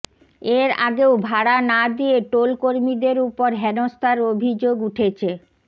এর আগেও ভাড়া না দিয়ে টোল কর্মীদের উপর হেনস্থার অভিযোগ উঠেছে